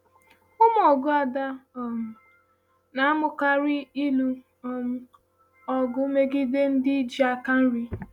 Ụmụ ọgụ Ada um na-amụkarị ịlụ um ọgụ megide ndị ji aka nri.